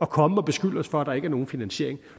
komme og beskylde os for at der ikke er nogen finansiering